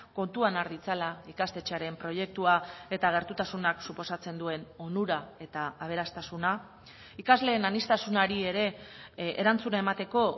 kontuan har ditzala ikastetxearen proiektua eta gertutasunak suposatzen duen onura eta aberastasuna ikasleen aniztasunari ere erantzuna emateko